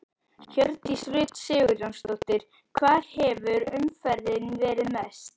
Hjördís Rut Sigurjónsdóttir: Hvar hefur umferðin verið mest?